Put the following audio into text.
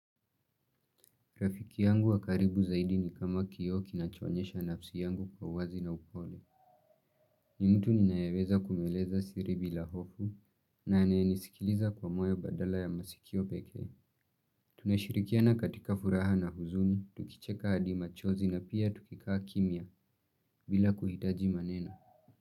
Rafiki yangu wa karibu zaidi ni kama kioo kinachoonyesha nafsi yangu kwa uwazi na upole. Ni mtu ninayeweza kumweleza siri bila hofu na anayenisikiliza kwa moyo badala ya masikio pekee. Tunashirikiana katika furaha na huzuni, tukicheka hadi machozi na pia tukikaa kimya bila kuhitaji maneno.